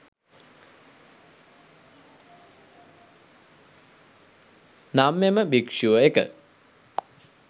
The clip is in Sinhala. නම් එම භික්ෂුව1.